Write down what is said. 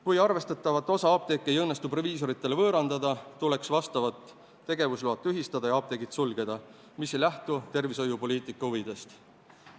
Kui arvestatavat osa apteeke ei õnnestu proviisoritele võõrandada, tuleks vastavad tegevusload tühistada ja apteegid sulgeda, mis aga ei lähtu tervishoiupoliitika huvidest.